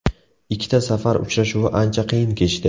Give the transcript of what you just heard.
Ikkita safar uchrashuvi ancha qiyin kechdi.